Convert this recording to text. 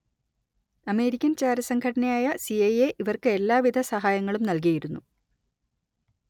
American ചാരസംഘടനയായ സി_letter ഐ_letter എ_letter ഇവർക്ക് എല്ലാവിധ സഹായങ്ങളും നൽകിയിരുന്നു